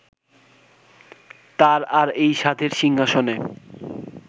তাঁর আর এই সাধের সিংহাসনে